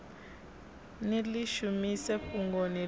ni ḽi shumise fhungoni ḽi